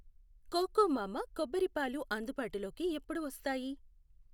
Cocomama కొబ్బరి పాలు అందుబాటులోకి ఎప్పుడు వస్తాయి?